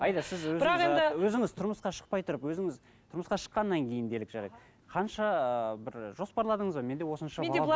аида сіз өзіңіз тұрмысқа шықпай тұрып өзіңіз тұрмысқа шыққаннан кейін делік жарайды қанша ы бір жоспарладыңыз ба менде осынша бала